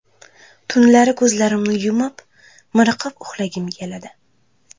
Tunlari ko‘zlarimni yumib, miriqib uxlagim keladi.